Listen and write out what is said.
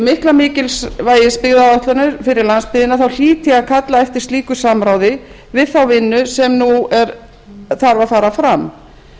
mikla mikilvægis byggðaáætlunar fyrir landsbyggðina hlýt ég að kalla eftir slíku samráði við þá vinnu sem nú þarf að fara fram